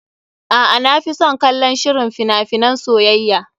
A'a, na fi son kallon shirin fina finan soyayya.